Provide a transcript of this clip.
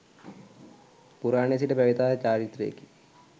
පුරාණයේ සිට පැවැත ආ චාරිත්‍රයකි.